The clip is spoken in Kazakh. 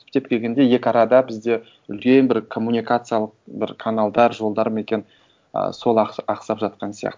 түптеп келгенде екі арада бізде үлкен бір коммуникациялық бір каналдар жолдар ма екен і сол ақсап жатқан сияқты